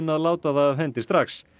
að láta það af hendi strax